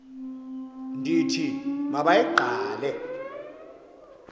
ndithi ma bayigqale